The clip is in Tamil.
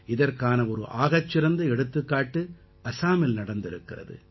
இதற்கான ஒரு ஆகச்சிறந்த எடுத்துக்காட்டு ஆசாமில் நடந்திருக்கிறது